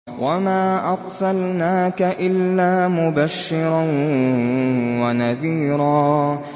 وَمَا أَرْسَلْنَاكَ إِلَّا مُبَشِّرًا وَنَذِيرًا